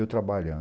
Eu trabalhando.